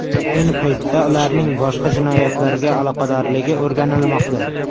Ayni paytda ularning boshqa jinoyatlarga aloqadorligi o‘rganilmoqda.